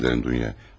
Üzür diləyirəm Duya.